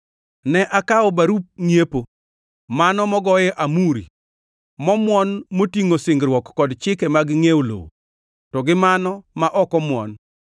Ne akawo barup ngʼiepo, mano mogoye amuri momwon motingʼo singruok kod chike mag ngʼiewo lowo, to gi mano ma ok omuon